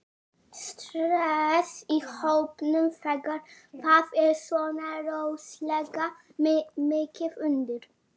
Stress í hópnum þegar það er svona rosalega mikið undir?